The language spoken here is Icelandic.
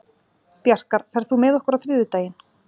Bjarkar, ferð þú með okkur á þriðjudaginn?